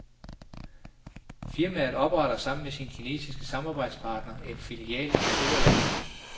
Firmaet opretter sammen med sin kinesiske samarbejdspartner en filial i det store land.